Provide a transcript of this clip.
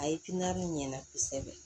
A ye ɲɛna kosɛbɛ